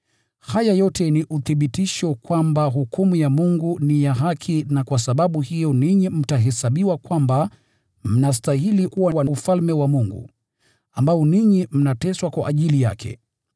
Haya yote ni uthibitisho kwamba hukumu ya Mungu ni ya haki, na kwa sababu hiyo ninyi mtahesabiwa kwamba mnastahili kuwa wa Ufalme wa Mungu, mnaoteswa kwa ajili wake.